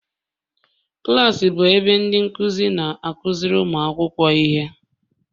Klas bụ ebe ndị nkuzi na-akụziri ụmụ akwụkwọ ihe